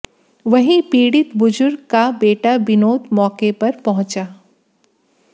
वहीं पीडि़त बुजुर्ग का बेटा विनोद मौके पर पहुंचा